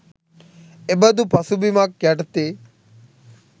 එබඳු පසුබිමක් යටතේ